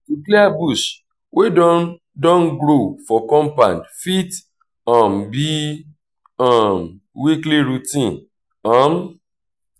to clear bush wey don don grow for compound fit um be um weekly routine um